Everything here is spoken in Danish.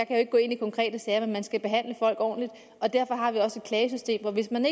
kan gå ind i konkrete sager men man skal behandle folk ordentligt og derfor har vi også et klagesystem så hvis man